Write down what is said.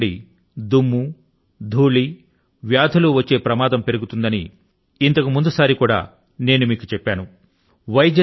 వర్షం నుండి దుమ్ము ధూళి వ్యాధులు వచ్చే ప్రమాదం పెరుగుతుందని ఇంతకుముందు సారి కూడా నేను మీకు చెప్పాను